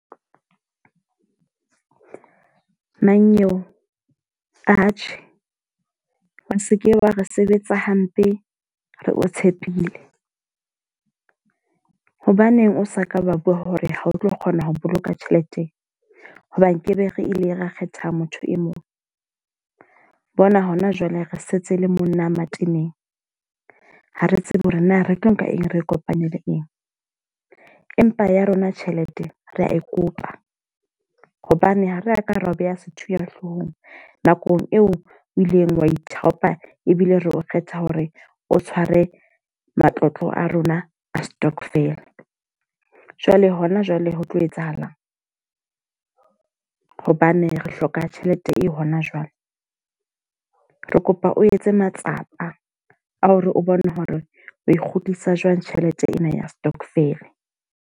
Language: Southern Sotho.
Mannyeo, atjhe, o seke wa re sebetsa hampe re o tshepile. Hobaneng o sa ka ba bua hore ha o tlo kgona ho boloka tjhelete. Ho ba nkebe re ile ra kgetha motho e mong. Bona ho na jwale re setse le monna mateneng. Ha re tsebe hore na re tlo nka eng, re kopanele eng. Empa ya rona tjhelete re a e kopa. Hobane ha ra ka ra o beha sethunya hloohong nakong eo o ileng wa ithaopa ebile re o kgetha hore o tshware matlotlo a rona a stokvel. Jwale hona jwale ho tlo etsahalang? Hobane re hloka tjhelete e hona jwale. Re kopa o etse matsapa a hore o bone hore o kgutlisa jwang tjhelete ena ya stokvel.